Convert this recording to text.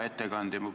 Hea ettekandja!